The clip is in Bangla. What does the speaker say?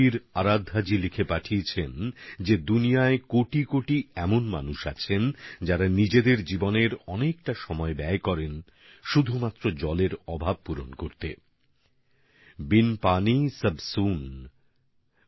র আরাধ্যাজি লিখেছেন বিশ্বের কোটি কোটি মানুষ নিজেদের জীবনের অনেক বড় ভাগ জলের অভাব পূরণ করার কাজেই খরচ করেন